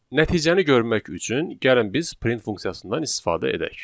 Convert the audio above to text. Nəticəni görmək üçün gəlin biz print funksiyasından istifadə edək.